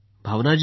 भावना जी